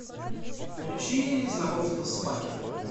включи знакомство с факерами